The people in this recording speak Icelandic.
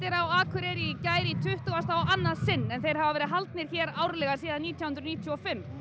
á Akureyri í gær í tuttugasta og annað sinn en þeir hafa verið haldnir hér á ári síðan nítján hundruð níutíu og fimm